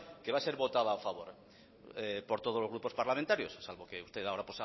que va a ser votada a favor por todos los grupos parlamentarios salvo que usted ahora